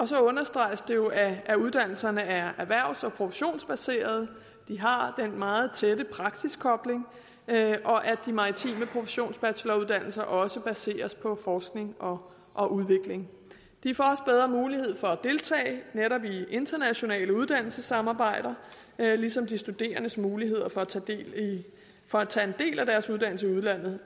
så understreges det jo at uddannelserne er erhvervs og professionsbaserede de har den meget tætte praksiskobling og at de maritime professionsbacheloruddannelser også baseres på forskning og og udvikling de får også bedre mulighed for at deltage netop i internationale uddannelsessamarbejder ligesom de studerendes muligheder for at tage en del af deres uddannelse i udlandet